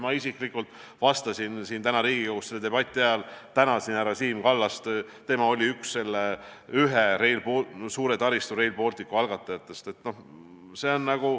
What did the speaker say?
Ma isiklikult täna Riigikogus selle debati ajal tänasin härra Siim Kallast, kes oli üks selle suure taristuprojekti Rail Balticu algatajatest.